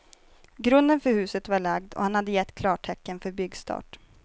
Grunden för huset var lagd och han hade gett klartecken för byggstart.